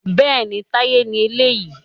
Bẹ́ẹ̀ni, Táyé ni eléyìí